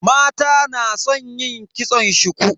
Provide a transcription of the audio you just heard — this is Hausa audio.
Mata na san yin kitson shuku.